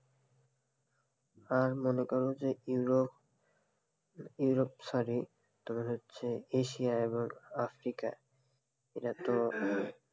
হ্যাঁ, মনে করো ইউরোপ ইউরোপ sorry তোমার হচ্ছে এশিয়া এবং আফ্রিকা এরা তো